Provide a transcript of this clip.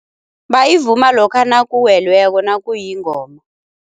Bayivuma lokha nakuwelweko nakuyingoma.